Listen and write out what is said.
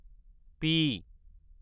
P